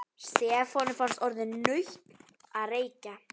Stefáni fannst orðið nautn að reykja.